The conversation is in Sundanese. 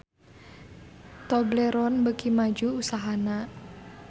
Tobleron beuki maju usahana